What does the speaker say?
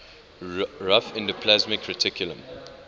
rough endoplasmic reticulum